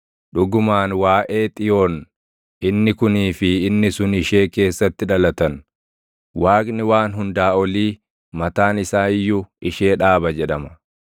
Dhugumaan waaʼee Xiyoon, “Inni kunii fi inni sun ishee keessatti dhalatan; Waaqni Waan Hunda Olii mataan isaa iyyuu ishee dhaaba” jedhama.